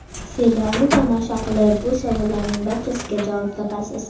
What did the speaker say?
Serialni tomosha qilib, bu savollarning barchasiga javob topasiz.